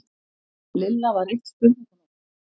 Lilla var eitt spurningarmerki.